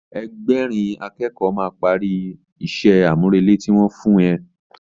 Ẹgbẹ̀rin a kẹ́kọ̀ọ́ máa parí ìṣe àmúrelé tí wọ́n fún ẹ